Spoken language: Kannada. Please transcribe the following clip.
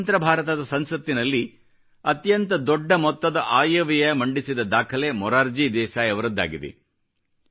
ಸ್ವತಂತ್ರ ಭಾರತದ ಸಂಸತ್ತಿನಲ್ಲಿ ಅತ್ಯಂತ ದೊಡ್ಡ ಮೊತ್ತದ ಆಯವ್ಯಯ ಮಂಡಿಸಿದ ದಾಖಲೆ ಮೊರಾರ್ಜಿ ದೇಸಾಯಿ ಅವರದ್ದಾಗಿದೆ